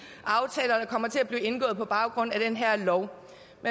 aftaler der kommer til at blive indgået på baggrund af den her lov